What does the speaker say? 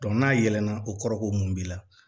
n'a yɛlɛlana o kɔrɔ ko mun b'i la